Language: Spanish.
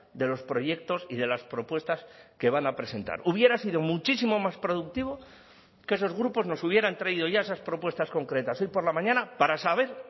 de los proyectos y de las propuestas que van a presentar hubiera sido muchísimo más productivo que esos grupos nos hubieran traído ya esas propuestas concretas hoy por la mañana para saber